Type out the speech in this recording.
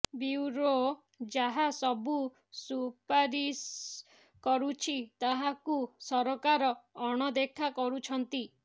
bureau ଯାହା ସବୁ ସୁପାରିସ କରୁଛି ତାହାକୁ ସରକାର ଅଣଦେଖା କରୁଛନ୍ତି